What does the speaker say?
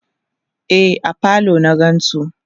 e a falo na gansu